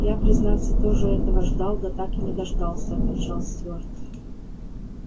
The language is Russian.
я признаться тоже этого ждал да так и не дождался отвечал стюарт